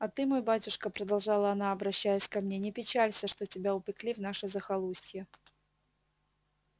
а ты мой батюшка продолжала она обращаясь ко мне не печалься что тебя упекли в наше захолустье